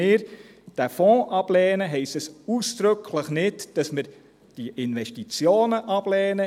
Wenn wir diesen Fonds ablehnen, heisst dies ausdrücklich nicht, dass wir diese Investitionen ablehnen.